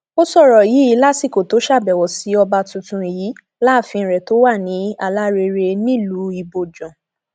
ó sọrọ yìí lásìkò tó ṣàbẹwò sí ọba tuntun yìí láàfin rẹ tó wà ní alárẹrẹ nílùú ibojàn